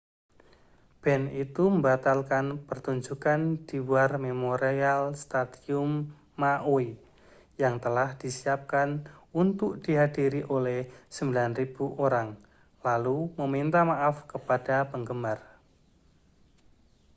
band itu membatalkan pertunjukan di war memorial stadium maui yang telah disiapkan untuk dihadiri oleh 9.000 orang lalu meminta maaf kepada penggemar